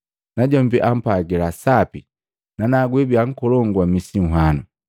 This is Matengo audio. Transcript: Najombi ampwagila, ‘Sapi nanagu wibia nkolongu wa misi nhwanu.’